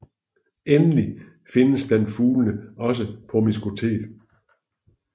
Endelig findes blandt fuglene også promiskuitet